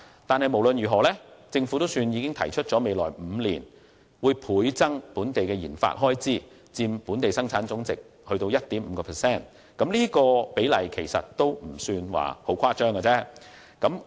不過，無論如何，政府總算已提出在未來5年，將本地的研發開支倍增至佔本地生產總值的 1.5%， 而這比例其實一點也不誇張。